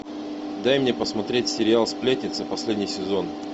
дай мне посмотреть сериал сплетница последний сезон